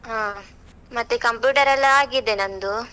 ಹ, ಮತ್ತೆ computer ಎಲ್ಲ ಆಗಿದೆ ನಂದು.